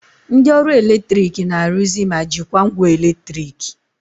Ndị ọrụ eletrik na-arụzi ma jikwaa ngwa eletriki